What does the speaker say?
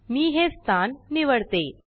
मी हे स्थान निवडते